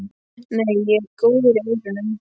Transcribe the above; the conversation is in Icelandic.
Nei, ég er góður í eyrunum.